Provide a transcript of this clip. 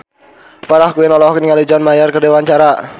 Farah Quinn olohok ningali John Mayer keur diwawancara